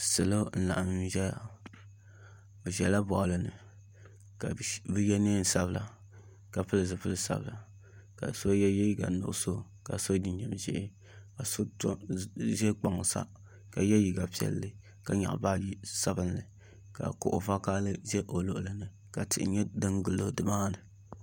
Salo n laɣam ʒɛya bi ʒɛla boɣali ni ka bi yɛ neen sabila ka pili zipili sabila ka so yɛ liiga nuɣso ka so jinjɛm ʒiɛ ka so ʒi kpaŋ sa ka yɛ liiga piɛlli ka nyaɣa baaji sabinli ka kuɣu vakaɣali ʒɛ o luɣuli ni ka tihi nyɛ din gilo dimaani